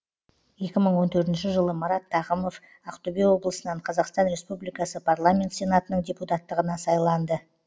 екі мың он төртінші жылы марат тағымов ақтөбе облысынан қазақстан республикасы парламент сенатының депутаттығына сайланды